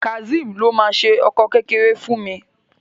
Kazeem ló má ṣe ọkọ kékeré fún mí